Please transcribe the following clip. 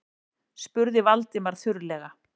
spurði Valdimar þurrlega.